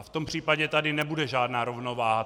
A v tom případě tady nebude žádná rovnováha.